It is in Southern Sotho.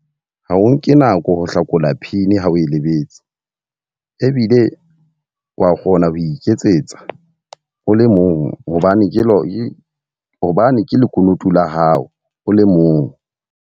Ha o nke nako ho hlakola pin ha o e Lebetse. Ebile wa kgona ho iketsetsa o le mong hobane ke hobane ke lekunutu la hao o le mong.